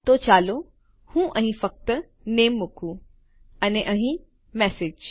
તો ચાલો હું અહીં ફક્ત નામે મુકું અને અહીં મેસેજ